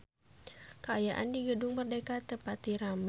Kaayaan di Gedung Merdeka teu pati rame